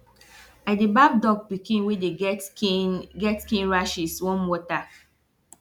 i dey baff dog pikin wey dey get skin get skin rashes warm water